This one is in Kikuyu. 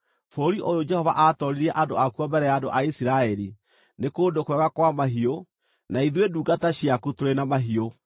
bũrũri ũyũ Jehova aatooririe andũ akuo mbere ya andũ a Isiraeli, nĩ kũndũ kwega kwa mahiũ, na ithuĩ ndungata ciaku tũrĩ na mahiũ.”